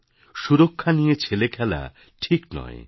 · সুরক্ষা নিয়ে ছেলেখেলা ঠিক নয়